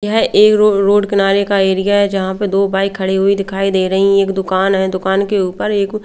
यह एक रोड किनारे का एरिया है जहां पे दो बाइक खड़ी हुई दिखाई दे रही एक दुकान है दुकान के ऊपर एक--